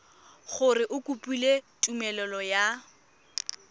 gore o kopile tumelelo ya